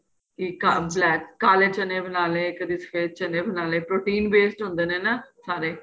ਇੱਕ ਆਂ black ਕਾਲੇ ਚੰਨੇ ਬਨਾਲੇ ਕਦੀਂ ਸਫ਼ੇਦ ਚੰਨੇ ਬਨਾਲੇ protein based ਹੁੰਦੇ ਨੇ ਨਾ ਸਾਰੇ